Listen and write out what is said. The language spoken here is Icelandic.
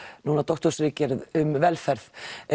núna doktorsritgerð um velferð